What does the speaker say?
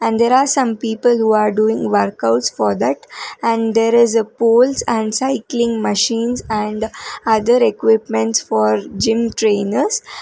and there are some people are doing workout for that and there is a poles and cycling machines and other equipments for gym trainer.